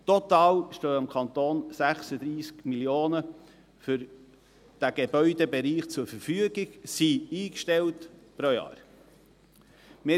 Total stehen dem Kanton 36 Mio. Franken für diesen Gebäudebereich zur Verfügung, beziehungsweise sind pro Jahr eingestellt.